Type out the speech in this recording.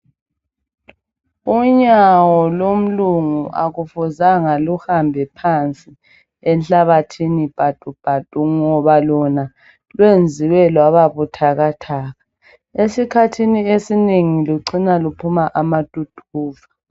unyawo lomlungu alufuzanga luhambe phansi enhlabathini patu patu ngoba lona lwenziwe lwaba buthakathaka esikhathini esinengi lucina luphuma amathuthuva